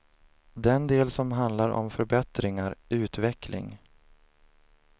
Den del som handlar om förbättringar, utveckling.